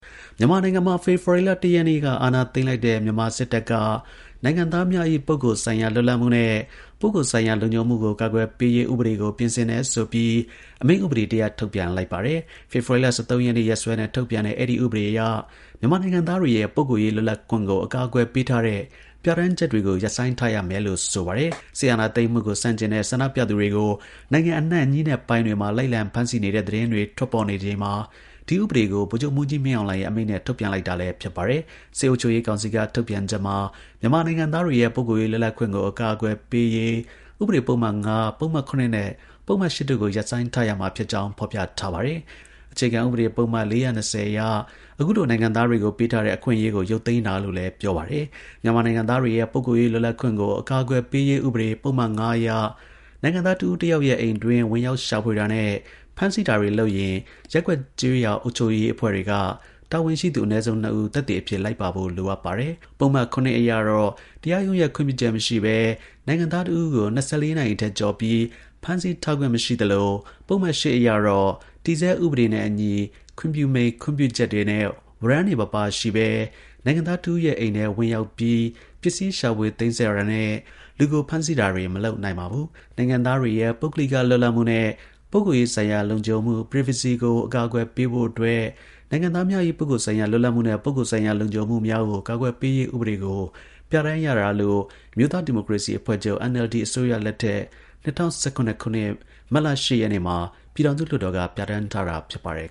မြန်မာနိုင်ငံမှာ ဖေဖော်ဝါရီလ ၁ ရက်နေ့က အာဏာသိမ်းလိုက်တဲ့ မြန်မာစစ်တပ်က နိုင်ငံသားများ၏ ပုဂ္ဂိုလ်ဆိုင်ရာ လွတ်လပ်မှုနှင့် ပုဂ္ဂိုလ်ဆိုင်ရာ လုံခြုံမှုကို ကာကွယ်ပေးရေး ဥပဒေကို ပြင်ဆင်တယ်ဆိုပြီး အမိန့်ဥပဒေတစ်ရပ် ထုတ်ပြန်လိုက်ပါတယ်။ ဖေဖော်ဝါရီ ၁၃ ရက်စွဲနဲ့ ထုတ်ပြန်တဲ့ အဲဒီ ဥပဒေအရ မြန်မာနိုင်ငံသားတွေရဲ့ ပုဂ္ဂိုလ်ရေး လွတ်လပ်ခွင့်ကို အကာအကွယ်ပေးထားတဲ့ ပြဌာန်းချက်တွေကို ရပ်ဆိုင်းထားရမယ်လို့ ဆိုပါတယ်။ စစ်အာဏာသိမ်းမှုကို ဆန့်ကျင်တဲ့ ဆန္ဒပြသူတွေကို နိုင်ငံအနှံ့ ညဉ့်နက်ပိုင်းတွေမှာ လိုက်လံ ဖမ်းဆီးနေတဲ့ သတင်းတွေ ထွက်ပေါ်နေ ချိန်မှာ ဒီ ဥပဒေကို ဗိုလ်ချုပ်မှူးကြီး မင်းအောင်လှိုင်ရဲ့ အမိန့်နဲ့ ထုတ်ပြန်လိုက်တာလည်း ဖြစ်ပါတယ်။ စစ်အုပ်ချုပ်ရေးကောင်စီက ထုတ်ပြန်ချက်မှာ မြန်မာနိုင်ငံသားတွေရဲ့ ပုဂ္ဂိုလ်ရေး လွတ်လပ်ခွင့်ကို အကာအကွယ်ပေးရေး ဥပဒေ ပုဒ်မ ၅၊ ပုဒ်မ ၇ နဲ့ ပုဒ်မ ၈ တို့ကို ရပ်ဆိုင်းထားရမှာ ဖြစ်ကြောင်း ဖော်ထားပါတယ်။အခြေခံ ဥပဒေ ပုဒ်မ ၄၂၀ အရ အခုလို နိုင်ငံသားတွေကို ပေးထားတဲ့ အခွင့်အရေးကို ရုပ်သိမ်းတာလို့လည်း ပြောပါတယ်။ မြန်မာနိုင်ငံသားတွေရဲ့ ပုဂ္ဂိုလ်ရေး လွတ်လပ်ခွင့်ကို အကာအကွယ်ပေးရေး ဥပဒေ ပုဒ်မ ၅ အရ နိုင်ငံသား တစ်ဦးတစ်ယောက်ရဲ့ အိမ်အတွင်း ဝင်ရောက်ရှိဖွေတာနဲ့ ဖမ်းဆီးတာ လုပ်ရင် ရပ်ကွက်ကျေးရွာ အုပ်ချုပ်ရေးအဖွဲ့တွေက တာဝန်ရှိသူ အနည်းဆုံး နှစ်ဦး သက်သေအဖြစ် လိုက်ပါဖို့ လိုအပ်ပါတယ်။ ပုဒ်မ ၇ အရ တရားရုံးရဲ့ ခွင့်ပြုချက် မရှိဘဲ နိုင်ငံသား တစ်ဦးကို ၂၄ နာရီထက် ကျော်ပြီး ဖမ်းဆီးထားခွင့် မရှိသလို ပုဒ်မ ၈ အရတော့ တည်ဆဲ ဥပဒေနဲ့အညီ ခွင့်ပြုမိန့် ခွင့်ပြုချက်နဲ့ ဝရမ်းတွေ မပါရှိဘဲ နိုင်ငံသားတစ်ဦးရဲ အိမ်ထဲ ဝင်ရောက်ပြီး ပစ္စည်း ရှာဖွေ သိမ်းဆည်း တာနဲ့ လူကို ဖမ်းဆီးတာတွေ မလုပ်နိုင်ပါဘူး။ နိုင်ငံသားတွေရဲ့ ပုဂ္ဂလိက လွတ်လပ်မှုနဲ့ ပုဂ္ဂိုလ်ရေးဆိုင်ရာ လုံခြုံမှု privacy ကို အကာအကွယ်ပေးဖို့ရေးအတွက် နိုင်ငံသားများ၏ ပုဂ္ဂိုလ်ဆိုင်ရာ လွတ်လပ်မှုနှင့် ပုဂ္ဂိုလ်ဆိုင်ရာ လုံခြုံမှုများကို ကာကွယ်ပေးရေး ဥပဒေကို ပြဌာန်းရတာလို့ အမျိုးသား ဒီမိုကရေစီ အဖွဲ့ ချုပ် NLD အစိုး ရလက်ထက်၂၀၁၇ ခုနှစ် မတ်လ ၈ ရက်နေ့မှာပြည်ထောင်စု လွှတ်တော်ကနေ ပြဌာန်းထားတာ ဖြစ်ပါတယ်